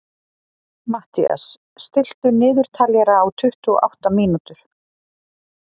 Mathías, stilltu niðurteljara á tuttugu og átta mínútur.